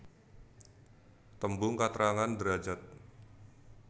Tembung katrangan derajad